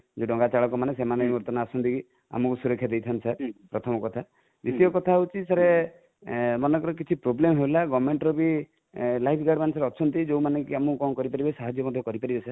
ଯେ ଡ଼ଙ୍ଗା ଚାଳକ ମାନେ ସେମାନେ ବର୍ତମାନ ଆସନ୍ତି ଆମକୁ ସୁରକ୍ଷା ଦେଇ ଥାନ୍ତି sir ପ୍ରଥମ କଥା, ଦ୍ୱିତୀୟ କଥା ହଉଛି sir ମନେକର କିଛି problem ହେଲା government ର ବି sir ଅଛନ୍ତି ଯୋଉ ମାନେ କି ଆମକୁ କଣ କରିପାରିବେ ଆମକୁ ସାହାଯ୍ୟ ମଧ୍ୟ କରିପାରିବେ sir